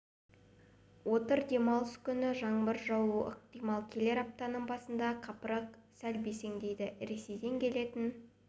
отыр демалыс күні жаңбыр жаууы ықтимал келер аптаның басында қапырық сәл бәсеңдейді ресейден келетін